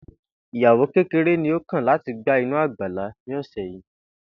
Ìyàwó kéreré ni ó kàn láti gba inú àgbàlá ní òsè̩ yìí